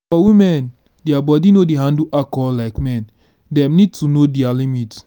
for women their body no dey handle alcohol like men dem need to know their limit